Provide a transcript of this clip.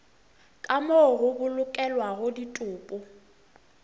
ka moo go bolokelwago ditopo